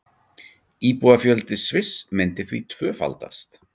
Íbúafjöldi Sviss myndi því tvöfaldast